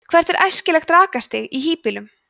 hvert er æskilegt rakastig í hýbýlum